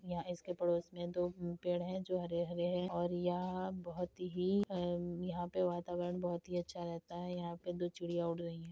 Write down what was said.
यहाँ इसके पड़ोस में दो पेड़ है जो हरे-हरे है और यह बोहोत ही अ- यहाँ पे वातावरण बोहोत ही अच्छा रहता है। यहाँ पे दो चिड़िया उड़ रही हैं।